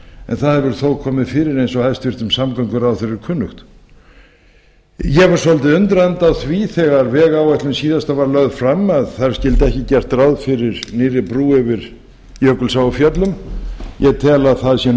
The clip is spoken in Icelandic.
en það hefur þó komið fyrir eins og hæstvirtur samgönguráðherra er kunnugt ég var svolítið undrandi á því þegar síðasta vegáætlun var lögð fram að þar skyldi ekki gert ráð fyrir nýrri brú yfir jökulsá á fjöllum ég tel að það sé